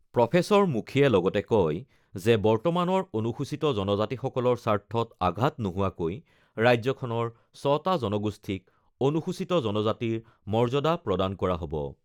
Professor মুখীয়ে লগতে কয় যে বৰ্তমানৰ অনুসূচিত জনজাতিসকলৰ স্বাৰ্থত আঘাত নোহোৱাকৈ ৰাজ্যখনৰ ৬টা জনগোষ্ঠীক অনুসূচিত জনজাতিৰ মৰ্য্যাদা প্ৰদান কৰা হ'ব।